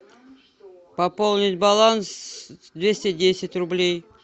пополнить баланс двести десять рублей